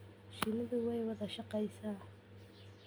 Shinnidu way wada shaqeysaa.